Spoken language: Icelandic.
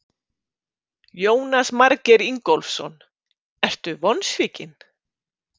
Jónas Margeir Ingólfsson: Ertu vonsvikinn?